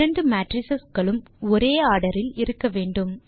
இரண்டு மேட்ரிஸ் களும் ஒரே ஆர்டர் இல் இருக்க வேண்டும்